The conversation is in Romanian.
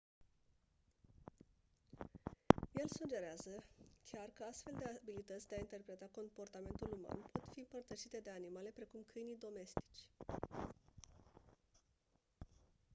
el sugerează chiar că astfel de abilități de a interpreta comportamentul uman pot fi împărtășite de animale precum câinii domestici